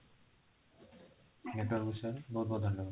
network ବିଷୟରେ ବହୁତ ବହୁତ ଧନ୍ୟବାଦ